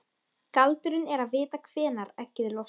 Galdurinn er að vita hvenær eggið losnar.